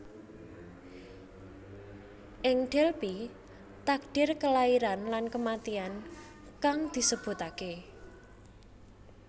Ing Delphi takdir Kelairan lan Kematian kang disebutake